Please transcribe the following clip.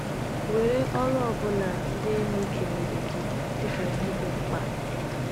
Were ọrụ ọ bụla ndị enyi kenyere gị dị ka ihe dị mkpa.